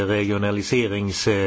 regionalisering.